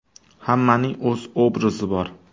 Hammaning o‘z obrazi bor.